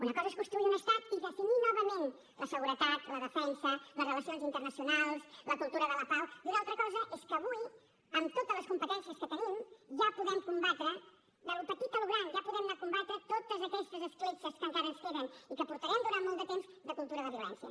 una cosa és construir un estat i definir novament la seguretat la defensa les relacions internacionals la cultura de la pau i una altra cosa és que avui amb totes les competències que tenim ja podem combatre d’allò petit a allò gran totes aquestes escletxes que encara ens queden i que portarem durant molt de temps de cultura de violència